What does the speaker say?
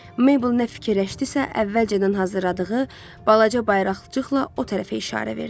Mabel nə fikirləşdisə, əvvəlcədən hazırladığı balaca bayraqcıqla o tərəfə işarə verdi.